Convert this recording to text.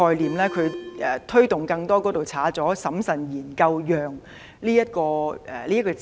她的修正案刪去了"推動更多"並加入"審慎研究讓"的字眼。